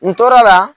N tora